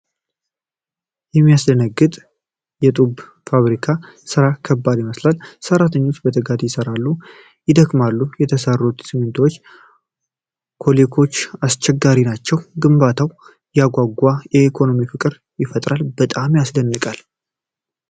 ሲያስደነግጥ! የጡብ ፋብሪካው ሥራ ከባድ ይመስላል። ሰራተኞቹ በትጋት ይሠራሉ፣ ያደክማል። የተሰሩት የሲሚንቶ ብሎኮች አስፈላጊ ነገር ናቸው። ግንባታው ያጓጓ። ለኢኮኖሚው ፍቅር ይፈጥራል። በጣም ያስደንቃል።